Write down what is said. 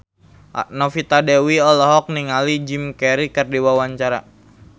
Novita Dewi olohok ningali Jim Carey keur diwawancara